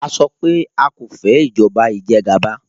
A sọpé a kọ̀ fẹ́ ìjọba ìjẹgàba!